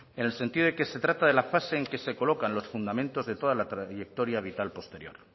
en el sentido de que se trata de la fase en que se colocan los fundamentos de toda la trayectoria vital posterior